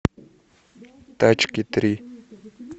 тачки три